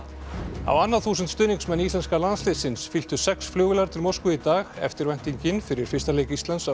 á annað þúsund stuðningsmenn íslenska landsliðsins fylltu sex flugvélar til Moskvu í dag eftirvæntingin fyrir fyrsta leik Íslands á